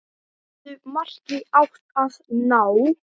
Settu marki átti að ná.